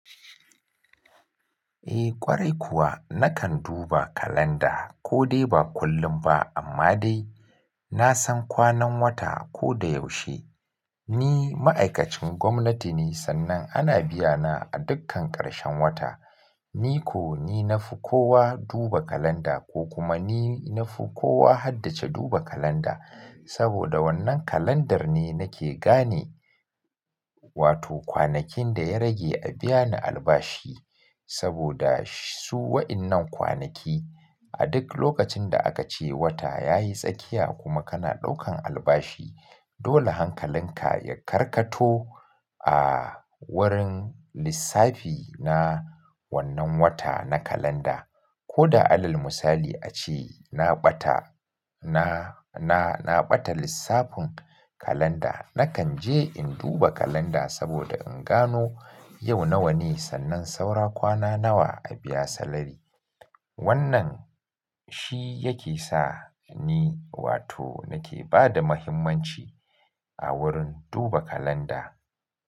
Eh ƙwarai kuwa nakan duba kalanda ko dai ba kullum ba amma dai na san kwanan wata ko da yaushe. Ni ma'aikacin gwamnati ne sannan ana biya na a dukkan ƙarshen wata. Ni ko ni na fi kowa duba kalanda ko kuma ni na fi kowa haddace duba kalanda saboda wannan kalandar ne nake gane wato kwanakin da ya rage a biya ni albashi saboda su wa'innan kwanaki a duk lokacin da aka ce wata yayi tsakiya kuma kana ɗaukan albashi dole hankalinka ya karkato a wurin lissafi na wannan wata na kalanda. Ko da alal misali ace na ɓata, na, na, na ɓata lissafin kalanda nakan je in duba kalanda saboda in gano yau nawa ne sannan saura kwana nawa a biya salary Wannan shi yake sa ni wato nake ba da muhimmanci a wurin duba kalanda.